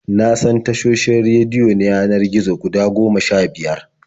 Na san tashoshin rediyo na yanar gizo guda goma sha-biyar.